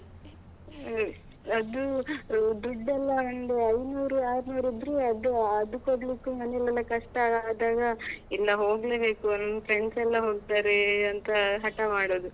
ಹ್ಮ್ ಅದೂ ದುಡ್ಡೆಲ್ಲಾ ಆ ನಂದು ಐನೂರು ಆರ್ನೂರು ಇದ್ರೆ ಅದು ಅದು ಕೊಡ್ಲಿಕ್ಕೂ ಮನೇಲಿಲ್ಲ ಕಷ್ಟ ಆದಾಗ ಎಲ್ಲಾ ಹೋಗ್ಲೆಬೇಕು ಅಂತ ನಮ್ಮ friends ಎಲ್ಲಾ ಹೋಗ್ತಾರೆ ಅಂತ ಹಠ ಮಾಡುದು.